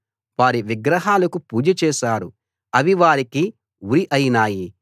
వారి విగ్రహాలకు పూజ చేశారు అవి వారికి ఉరి అయినాయి